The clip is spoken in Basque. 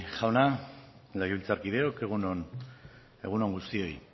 jauna legebiltzarkideok egun on egun on guztioi